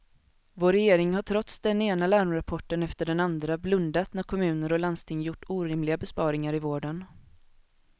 Vår regering har trots den ena larmrapporten efter den andra blundat när kommuner och landsting gjort orimliga besparingar i vården.